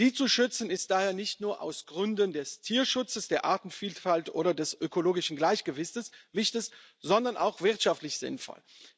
Sie zu schützen, ist daher nicht nur aus Gründen des Tierschutzes, der Artenvielfalt oder des ökologischen Gleichgewichts, sondern auch wirtschaftlich sinnvoll.